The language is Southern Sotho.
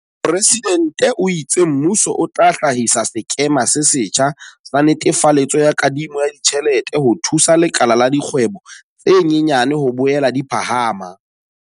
Mopresidente o itse mmuso o tla hlahisa sekema se setjha sa netefaletso ya kadimo ya ditjhelete ho thusa lekala la dikgwebo tse nyenyane ho boela di phahama.